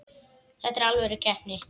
Þetta er alvöru keppni.